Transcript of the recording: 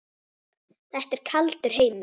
Þetta er kaldur heimur.